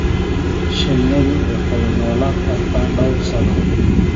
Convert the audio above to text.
Shinnidu waxay noolaan kartaa dhowr sano.